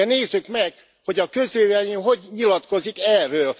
De nézzük meg, hogy a közvélemény hogy nyilatkozik erről.